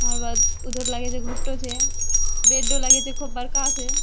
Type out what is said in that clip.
ओकर बाद उधर लगे छै घोटो छै बेडो लगे छै खूब बड़का छै।